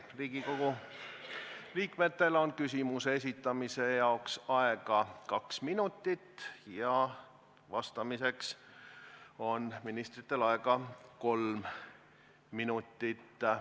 Riigikogu liikmetel on küsimuse esitamise jaoks aega kaks minutit ja vastamiseks on ministritel aega kolm minutit.